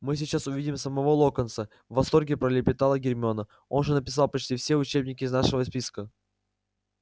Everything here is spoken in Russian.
мы сейчас увидим самого локонса в восторге пролепетала гермиона он же написал почти все учебники из нашего списка